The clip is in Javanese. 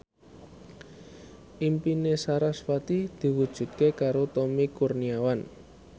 impine sarasvati diwujudke karo Tommy Kurniawan